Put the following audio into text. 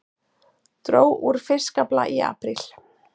Dró úr fiskafla í apríl